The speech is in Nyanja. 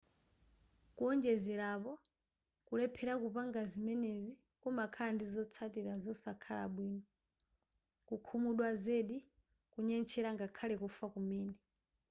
kuonjezera apo kulephera kupanga ziemenezi kumakhala ndi zotsatira zosakhala bwino kukhumudwa zedi kunyentchera ngakhale kufa kumene